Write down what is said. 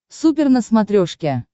супер на смотрешке